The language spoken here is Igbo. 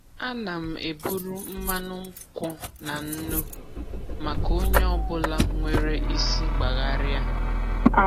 Ana m eburu mmanụ nkwụ na nnu maka onye ọ bụla nwere isi gbagharia.